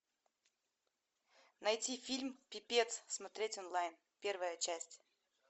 найти фильм пипец смотреть онлайн первая часть